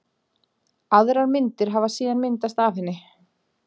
Aðrar myndir hafi síðan myndast af henni.